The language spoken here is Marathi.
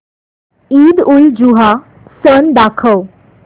ईदउलजुहा सण दाखव